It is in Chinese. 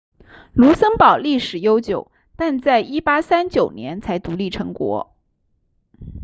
卢森堡历史悠久但在1839年才独立成国